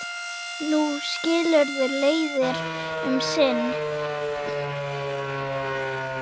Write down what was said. Nú skilur leiðir um sinn.